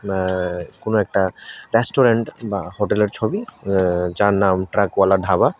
এ্য কোন একটা রেস্টুরেন্ট বা হোটেলের ছবি যার নাম ট্রাক বালা ধাবা।